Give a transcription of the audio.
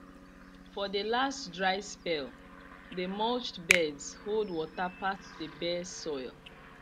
for the last dry spell the mulched beds hold water pass the bare soil